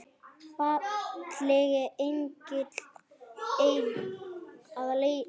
Fallegi engill að eilífu.